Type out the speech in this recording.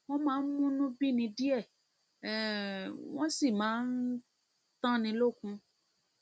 wọn máa ń múnú bíni díẹ um wọn sì máa ń tánni lókun